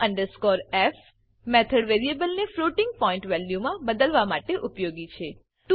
to f method variable ને floating point value મા બદલવા માટે ઉપયોગી છે